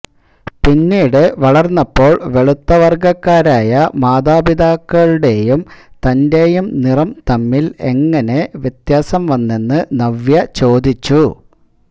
പിന്നീട് വളര്ന്നപ്പോള് വെളുത്ത വര്ഗ്ഗക്കാരായ മാതാപിതാക്കളുടെയും തന്റെയും നിറം തമ്മില് എങ്ങിനെ വ്യത്യാസം വന്നെന്ന് നവ്യ ചോദിച്ചു